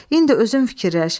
İndi özün fikirləş.